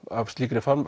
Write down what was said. af slíkri